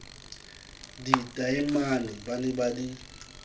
ditaemane ba ne ba di